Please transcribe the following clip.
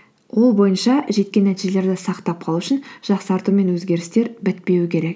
ол бойынша жеткен нәтижелерді сақтап қалу үшін жақсарту мен өзгерістер бітпеуі керек